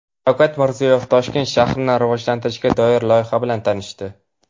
Shavkat Mirziyoyev Toshkent shahrini rivojlantirishga doir loyiha bilan tanishdi.